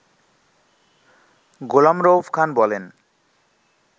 গোলাম রউফ খান বলেন